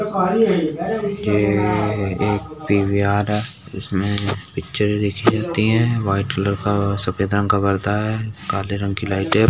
ये एक पी.वी.आर. हैं इसमें पिक्चरे देखी जाती है वाइट कलर का सफ़ेद रंग का पर्दा है काले रंग की लाइटे --